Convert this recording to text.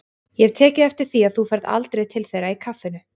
Ég hef tekið eftir því að þú ferð aldrei til þeirra í kaffinu.